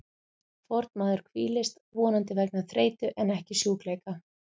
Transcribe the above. Fornmaður hvílist, vonandi vegna þreytu en ekki sjúkleika.